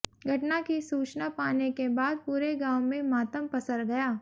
घटना की सूचना पाने के बाद पूरे गांव में मातम पसर गया